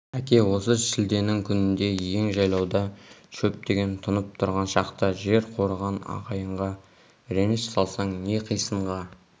әке осы шілденің күнінде ен жайлауда шөп деген тұнып тұрған шақта жер қорыған ағайынға реніш салсаң не қисынға